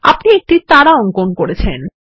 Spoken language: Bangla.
আপনি একটি তারা অঙ্কন করেছেন